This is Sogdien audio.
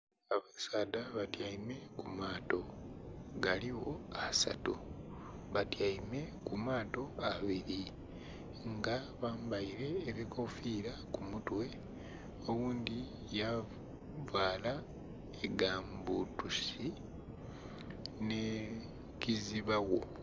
Abasaadha batyeime kumato galigho asaatu batyeime kumato abili nga bambeile enkofiira kumutwe oghundhi yavala gamu bbutusi nhe kizibagho.